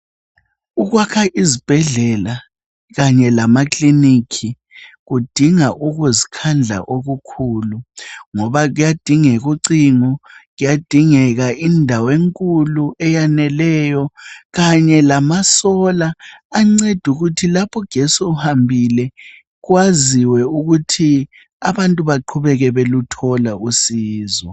Ukwakha izibhedlela kanye lamakiliniki kudinga ukuzikhandla okukhulu ngoba kuyadingeka ucingo ,kuyadingeka indawo enkulu eyaneleyo kanye lamasola anceda ukuthi lapho ugetsi ehambile kwaziwe ukuthi abantu baqhubeke beluthola usizo